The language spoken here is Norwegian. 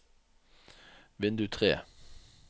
vindu tre